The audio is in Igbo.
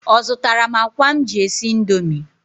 Ọ zụtara m akwa m ji esi Indomie?